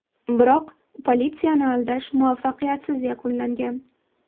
Biroq politsiyani aldash muvaffaqiyatsiz yakunlangan.